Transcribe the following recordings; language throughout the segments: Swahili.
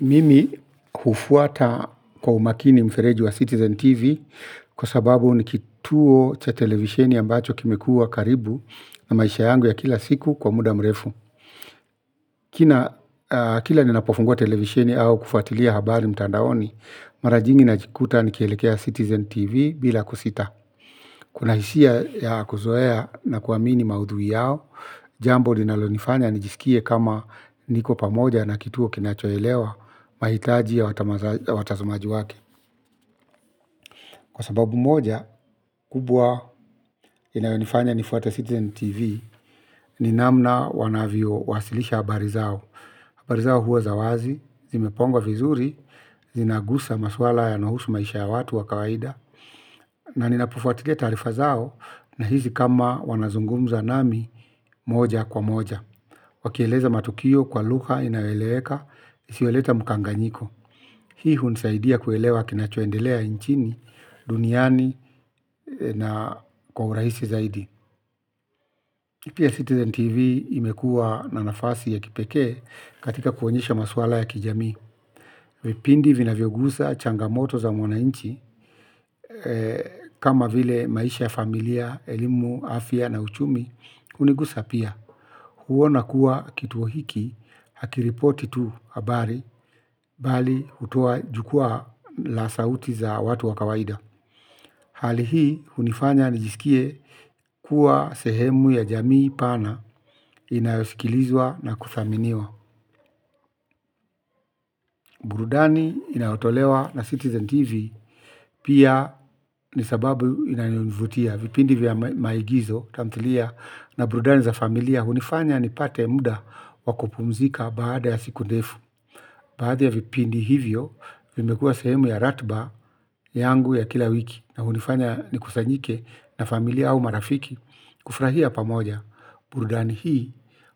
Mimi hufuata kwa umakini mfereji wa Citizen TV kwa sababu ni kituo cha televisheni ambacho kimekua karibu na maisha yangu ya kila siku kwa muda mrefu. Kina kila ni napofungua televisheni au kufuatilia habari mtandaoni, mara nyingi najikuta ni kielekea Citizen TV bila kusita. Kuna hisia ya kuzoea na kuamini maudhui yao. Jambo linalonifanya nijisikie kama niko pamoja na kituo kinachoelewa mahitaji ya watazamaji wake. Kwa sababu moja, kubwa inayonifanya ni Fuate Citizen TV. Ni namna wanavyo wasilisha habari zao habari zao huwa za wazi, zimepangwa vizuri. Zinagusa maswala yanayohusu maisha ya watu wa kawaida. Na ninapofuatilia taarifa zao na hisi kama wanazungumza nami moja kwa moja. Wakieleza matukio kwa lugha inayoeleweka, isiyoleta mkanganyiko. Hii hunisaidia kuelewa kinacho endelea nchini duniani na kwa urahisi ziaidi. Pia Citizen TV imekua na nafasi ya kipekee katika kuonyesha maswala ya kijamii. Vipindi vina vyogusa changa moto za mwananchi, kama vile maisha familia, elimu, afya na uchumi, hunigusa pia. Kuona kuwa kituo hiki hakiripoti tu habari bali hutoa jukwaa la sauti za watu wa kawaida. Hali hii hunifanya nijisikie kuwa sehemu ya jamii pana inayosikilizwa na kuthaminiwa. Burudani inayotolewa na Citizen TV pia ni sababu inayonivutia vipindi vya maigizo tamthilia na burudani za familia. Hunifanya nipate muda wa kupumzika baada ya siku ndefu. Baadhi ya vipindi hivyo, vimekua sehemu ya ratiba yangu ya kila wiki na hunifanya nikusanyike na familia au marafiki kufurahia pamoja burudani hii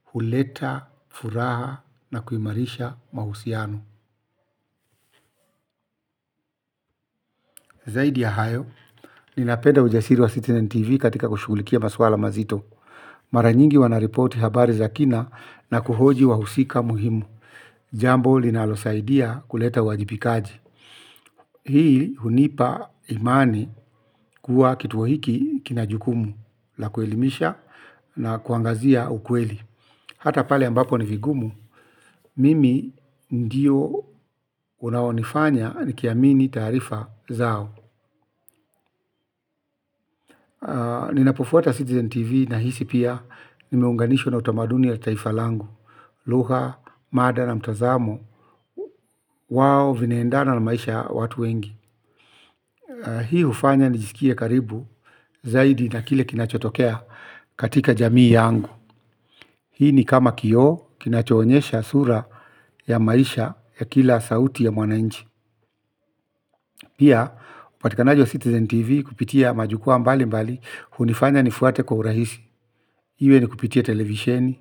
huleta furaha na kuimarisha mahusiano. Zaidi ya hayo, ninapenda ujasiri wa Citizen TV katika kushugulikia maswala mazito. Mara nyingi wanareporti habari za kina na kuhoji wahusika muhimu. Jambo linalo saidia kuleta uwajibikaji. Hii hunipa imani kuwa kituo hiki kina jukumu la kuelimisha na kuangazia ukweli. Hata pale ambako ni vigumu, mimi ndio unaonifanya ni kiamini taarifa zao. Ninapofuata Citizen TV na hisi pia nimeunganishwa na utamaduni ya taifa langu. Lugha, mada na mtazamo, wao vinaendana na maisha ya watu wengi. Hii hufanya nijisikie karibu zaidi na kile kinachotokea katika jamii yangu. Hii ni kama kioo kinacho onyesha sura ya maisha ya kila sauti ya mwananchi. Pia, upatikanaji wa Citizen TV kupitia majukua mbali mbali, hunifanya nifuate kwa urahisi. Iwe ni kupitia televisheni,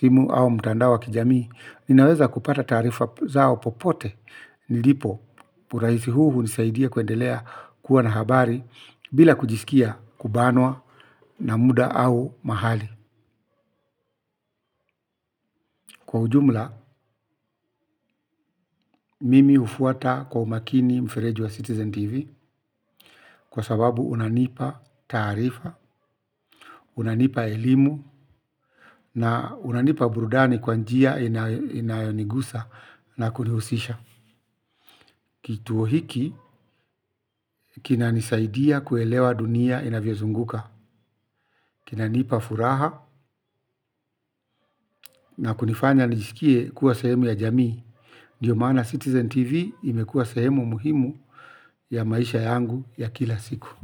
simu au mitandao kijamii. Ninaweza kupata taarifa zao popote. Nilipo, urahisi huu hunisaidia kuendelea kuwa na habari bila kujisikia kubanwa na muda au mahali. Kwa ujumla, mimi hufuata kwa umakini mfereji wa Citizen TV kwa sababu unanipa taarifa, unanipa elimu na unanipa burudani kwa njia inayonigusa na kunihusisha. Kituo hiki kinanosaidia kuelewa dunia inavyo zunguka kinanipa furaha na kunifanya nijisikie kuwa sehemu ya jamii. Ndio maana Citizen TV imekua sehemu muhimu ya maisha yangu ya kila siku.